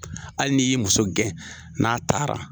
Hali ni y'i muso gɛn n'a taara.